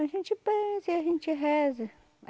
A gente benze e a gente reza.